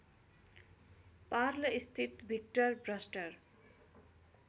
पार्लस्थित Victor भर्स्टर